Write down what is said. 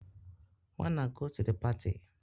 wanna go to the party